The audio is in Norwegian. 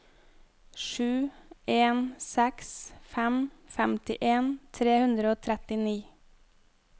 sju en seks fem femtien tre hundre og trettini